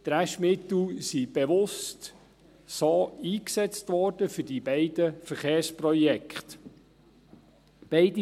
Die Restmittel wurden bewusst für diese beiden Verkehrsprojekte eingesetzt.